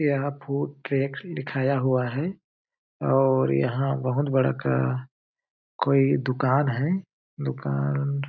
यहाँ food track लिखाया हुआ है और यहाँ बहुत बड़ा का कोई दुकान है दुकान --